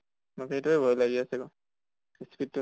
মোক সেইটোয়ে ভয় লাগি আছে কʼ speed টো